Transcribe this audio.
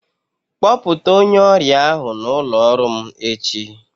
Kpọta onye ọrịa ahụ n'ụlọ ọrụ m echi.